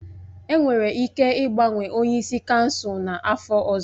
Enwere ike ịgbanwe onye isi kansụl n'afọ ọzọ